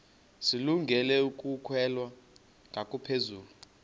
zilungele ukwalekwa ngaphezulu